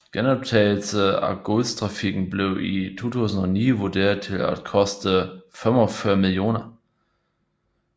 Genoptagelse af godstrafikken blev i 2009 vurderet til at koste 45 mill